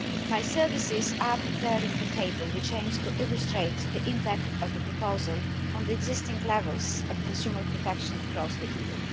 My services are preparing a table, which aims to illustrate the impact of the proposal on the existing levels of consumer protection across the EU.